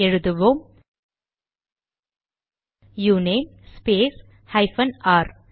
எழுதுவோம் uname space hyphen R